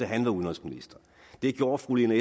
han var udenrigsminister det gjorde fru lene